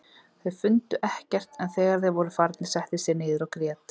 Þeir fundu ekkert en þegar þeir voru farnir settist ég niður og grét.